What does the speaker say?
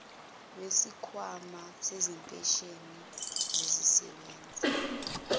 wesikhwama sezimpesheni zezisebenzi